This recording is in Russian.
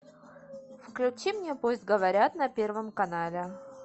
включи мне пусть говорят на первом канале